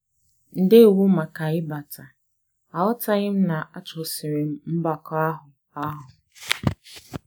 Ndewo màkà ịbata, aghọtaghị na-achọsiri m mbakọ àhụ́ áhụ̀.